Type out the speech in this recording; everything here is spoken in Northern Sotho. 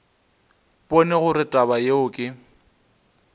bone gore taba yeo ke